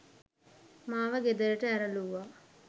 මාව ගෙදරට ඇරලූවා.